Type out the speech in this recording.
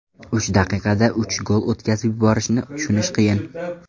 Uch daqiqada uch gol o‘tkazib yuborishni tushunish qiyin.